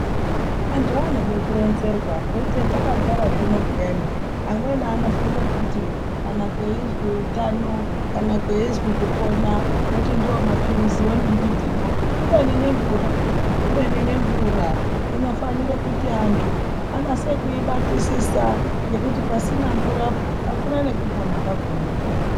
Antu anode kuronzerwa ngekuti hetakagara zvino peyani amweni anofunge kuti kana kweizwi utano, kana kweizwi kupona woti ndiwo maphiriziwo nembitiyo. Kubeni nemvura peya, kubeni nemvura, inofanire kuti antu anase kuibatisisa ngekuti pasina mvurapo, hakuna ngekupona kwakona.